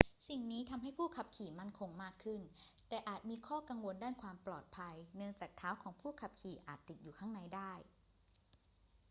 สิ่งนี้ทำให้ผู้ขับขี่มั่นคงมากขึ้น แต่อาจมีข้อกังวลด้านความปลอดภัยเนื่องจากเท้าของผู้ขับขี่อาจติดอยู่ข้างในได้